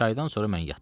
Çaydan sonra mən yatdım.